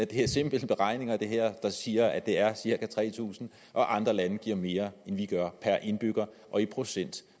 det er simple beregninger der siger at det er cirka tre tusind og andre lande giver mere end vi gør per indbygger og i procent